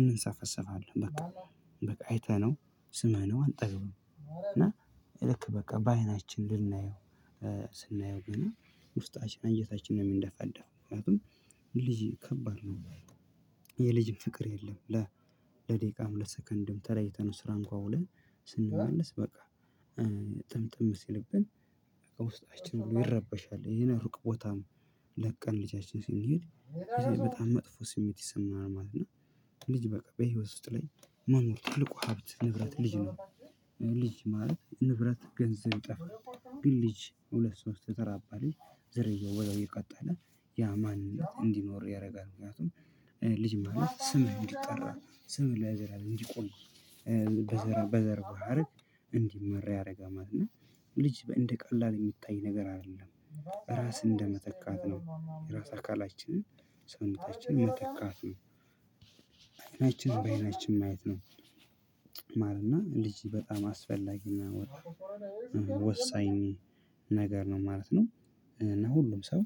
እንሰፈስፋለን በቃ በቃ አይተነው ስመነው አንጠግቡም እና ልክ በቃ በአይናችን ልናየው ስናየው ገና ውስጣችን አጀታችንን የምንደፈዳጠደፈው ምክንያቱም ልጅ ከባድ ነው። የልጅ ፍቅር የለም። ለደቂቃም ለሰከንድም ተለይተህ ነው ስራ እንኳን ውለን ስንመለስ በቃ ጥምጥም ሲልብን ውስጣችን ብሎ ይረበሻል። በህይወት እና ልጅ በቃ በህይወት ውስጥ ላይ መኖር ታልቁ ሀብት ንብረት ልጅ ነው። ልጅ ማለት ንብረት ገንዘብ ይጠፋል ግን ልጅ ሁለት ሶስት የጠራባ ልጅ ዘረየው ወደው የቀጠለ ያ ማንነት እንዲኖር ያደርጋል። ምክንያቱም ልጅ ማን ስም እንዲጠራ ስም ላይ ዘር እንዲቆም በዘር በዘር ባህር እንዲመራ ያደርጋማል እና ልጅ እንደ ቀላል የሚታይ ነገር አይደለም። ራስን እንደመተካት ነው የራስ አካላችንን ሰውነታችንን መተካት ነው። አይናችን በአይናችን ማየት ነው። ማለት ነው ልጅ በጣም አስፈላጊና ወሳኝ ነገር ነው ማለት ነው። እና ሁሉም ሰው